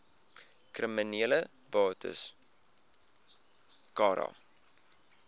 kriminele bates cara